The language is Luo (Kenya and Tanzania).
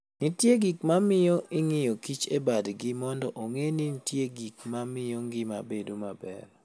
Nitie gik ma miyo ing'iyo kich e badgi mondo ong'e ni nitie gik ma miyo ngima bedo maber.